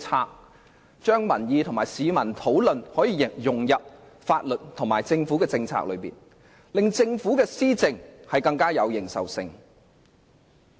議員應把民意和市民的討論融入法律和政府政策中，令政府的施政更具認受性。